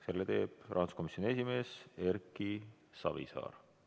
Selle teeb rahanduskomisjoni esimees Erki Savisaar.